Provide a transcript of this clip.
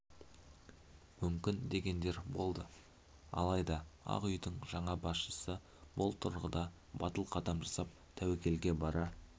мүмкін дегендер болды алайда ақ үйдің жаңа басшысы бұл тұрғыда батыл қадам жасап тәуекелге бара